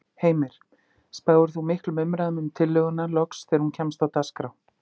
Heimir: Spáir þú miklum umræðum um tillöguna loks þegar hún kemst á dagskrá?